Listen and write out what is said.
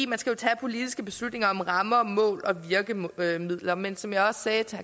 man skal jo tage politiske beslutninger om rammer mål og virkemidler men som jeg også sagde til